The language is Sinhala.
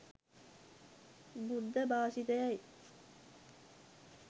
බුද්ධ භාෂිතයයි.